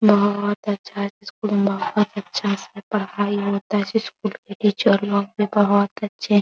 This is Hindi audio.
बहुत अच्छा स्कूल बहुत अच्छा से पढ़ाई होता है | इस स्कूल के टीचर लोग भी बहुत अच्छे --